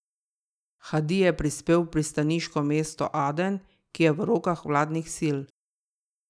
Hadi je prispel v pristaniško mesto Aden, ki je v rokah vladnih sil.